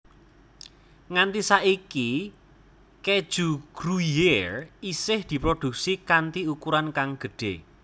Nganti saiki keju Gruyère isih diproduksi kanti ukuran kang gedhé